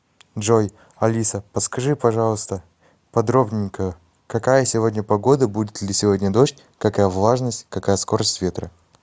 джой алиса подскажи пожалуйста подробненько какая сегодня погода будет ли сегодня дождь какая влажность какая скорость ветра